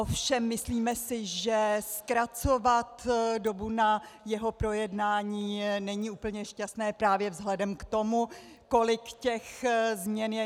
Ovšem myslíme si, že zkracovat dobu na jeho projednání není úplně šťastné právě vzhledem k tomu, kolik těch změn je.